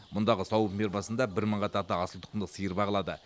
мұндағы сауын фермасында бір мыңға тарта асылтұқымды сиыр бағылады